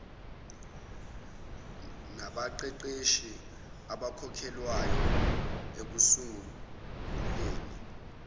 nabaqeqeshi abakhokhelwayo ekusunguleni